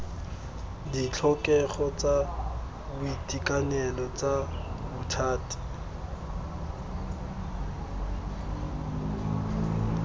ditlhokego tsa boitekanelo tsa bothati